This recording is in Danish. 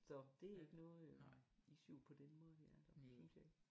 Så det ikke noget øh issue på den måde her synes jeg ikke